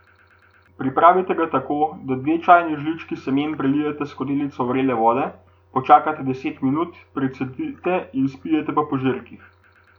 Pripravite ga tako, da dve čajni žlički semen prelijete s skodelico vrele vode, počakate deset minut, precedite in pijete po požirkih.